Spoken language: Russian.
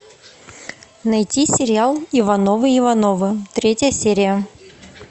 найти сериал ивановы ивановы третья серия